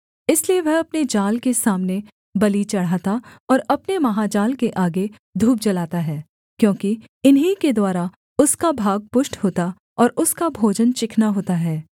इसलिए वह अपने जाल के सामने बलि चढ़ाता और अपने महाजाल के आगे धूप जलाता है क्योंकि इन्हीं के द्वारा उसका भाग पुष्ट होता और उसका भोजन चिकना होता है